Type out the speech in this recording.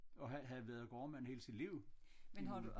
Og han havde været gårdmand hele sit liv i Muleby